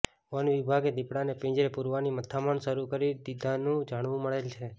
વનવિભાગે દીપડાને પીંજરે પુરવાની મથામણ શરુ કરી દીધાનું જાણવા મળેલ છે